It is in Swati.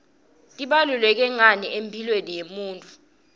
tibaluleke ngani emphilweni yemunifu